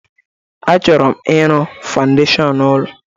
Achọrọ m ịrụ fawndeshọn ụlọ